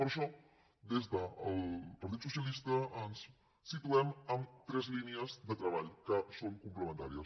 per això des del partit socialista ens situem en tres línies de treball que són complementàries